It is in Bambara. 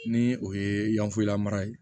Ni o ye yanfelamara ye